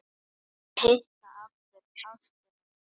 Að hitta aftur ástina sína